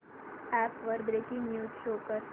app वर breaking news show कर